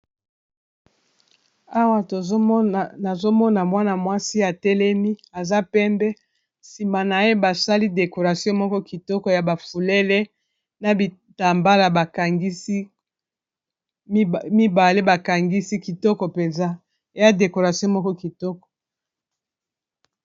Awa nazomona mwana mwasi ya telemi aza pembe nsima na ye basali dekoration moko kitoko, ya bafulele na bitambala bakangisi mibale bakangisi kitoko mpenza ya dekoration moko kitoko.